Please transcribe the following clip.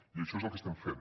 i això és el que estem fent